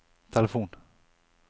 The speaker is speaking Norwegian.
telefon